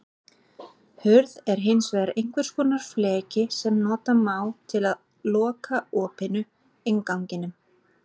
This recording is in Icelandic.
Hurð er hins vegar einhvers konar fleki sem nota má til að loka opinu, innganginum.